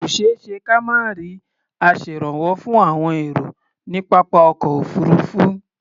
Kò ṣeé ṣe ka má rí aṣèrànwọ́ fún àwọn èrò ní pápá ọkọ̀ òfuurufú.